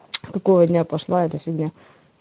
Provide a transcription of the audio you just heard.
с какого дня пошла эта фигня